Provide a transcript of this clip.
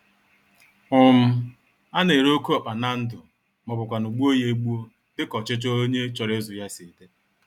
um Ana-ere oke ọkpa na ndụ, mọbụkwanụ̀ gbuo ya egbuo, dịka ọchịchọ onye chọrọ ịzụ ya si d